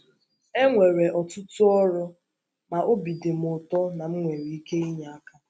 E nwere ọtụtụ ọrụ, ma obi dị m ụtọ na m nwere ike inye aka.